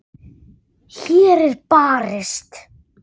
Úr fjarska barst rödd.